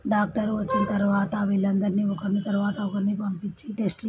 doctor వచ్చిన తర్వాత వీళ్ళందర్నీ ఒకరి తర్వాత ఒకరిని పంపించి టెస్ట్--